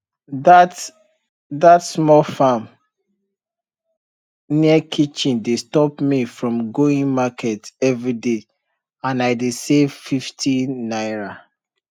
that that small farm near kitchen dey stop me from going market everyday and i dey save 50 naira